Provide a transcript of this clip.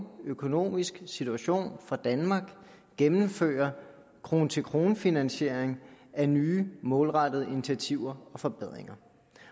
økonomisk situation for danmark gennemfører krone til krone finansiering af nye målrettede initiativer og forbedringer